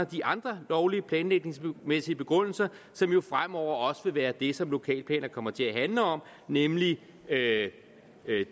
de andre lovlige planlægningsmæssige begrundelser som jo fremover også vil være det som lokalplaner kommer til at handle om nemlig det